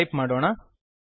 type ಮಾಡೋಣ